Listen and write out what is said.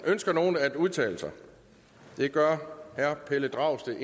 ønsker nogen at udtale sig det gør herre pelle dragsted